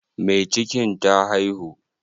Mai cikin ta haihu?